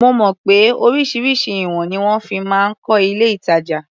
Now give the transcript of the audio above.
Mo mọ̀ pé oríṣiríṣi ìwọ̀n ni wọ́n fi máa ń kọ́ ilé-ìtàjà.